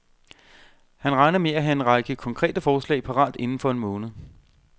Han regner med at have en række konkrete forslag parat inden for en måned.